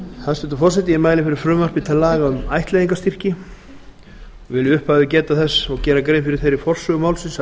forseti ég mæli fyrir frumvarpi til laga um ættleiðingarstyrki og vil í upphafi geta þess og gera grein fyrir þeirri forsögu málsins að